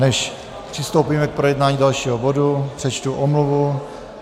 Než přistoupíme k projednání dalšího bodu, přečtu omluvu.